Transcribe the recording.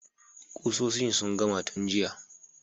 Kusoshin sun gama tun jiya.